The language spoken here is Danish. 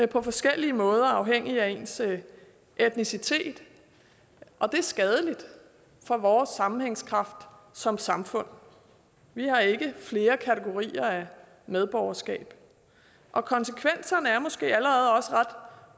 på forskellige måder afhængigt af ens etnicitet og det er skadeligt for vores sammenhængskraft som samfund vi har ikke flere kategorier af medborgerskab konsekvenserne er måske allerede også ret